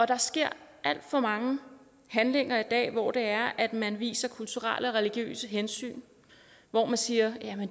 der sker alt for mange handlinger i dag hvor det er at man viser kulturelle og religiøse hensyn hvor man siger at